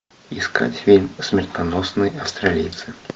искать фильм смертоносные австралийцы